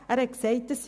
Doch, er ist hier.